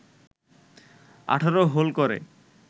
১৮ hole করে